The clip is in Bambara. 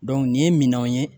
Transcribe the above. nin ye minɛnw ye